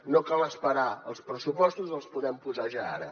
no cal esperar als pressupostos els podem posar ja ara